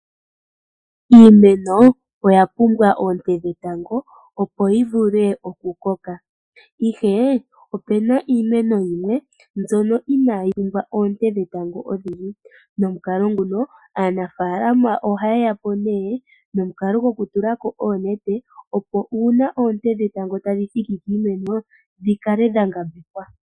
Iimeno oyapumbwa oonte dhetango, opo yi vule okukoka. Ihe opuna iimeno yimwe mbyono inayi pumbwa oonte dhetango odhindji. Nomukalo nguka aanafaalama ohaya tulako oonete , opo uuna oonte dhetango tadhi thiki kiimeno, dhikale dha ngambekwa.